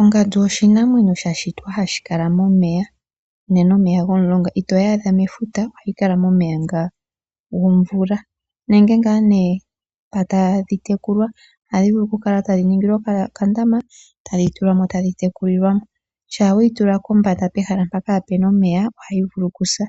Ongandu oshinamwenyo sha shitwa hashi kala momeya, momeya gomulonga. Itoyi adha mefuta. Ohayi kala momeya gomvula nenge mpa tadhi tekulwa. Ohadhi vulu okukala dha ningilwa okandama tadhi tulwa mo tadhi tekulwa. Shampa we yi tula kombanda pehala mpoka kaapu na omeya ohayi vulu okusa.